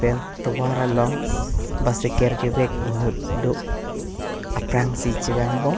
pen tovar along bicycle kevek inut do aprang si chevang bom.